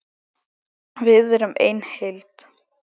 Við erum ein heild!